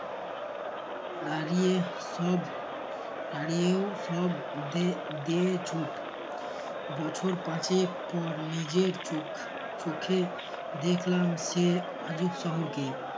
দাঁড়িয়ে সব দাঁড়িয়েও সব দে দে ছুট বছর পাঁচেক পর নিজের চোখ চোখে দেখলাম সে আজব শহরকে